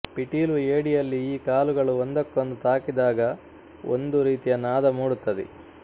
ಪಿಟೀಲು ಏಡಿಯಲ್ಲಿ ಈ ಕಾಲುಗಳು ಒಂದಕ್ಕೊಂದು ತಾಕಿದಾಗ ಒಂದು ರೀತಿಯ ನಾದ ಮೂಡುತ್ತದೆ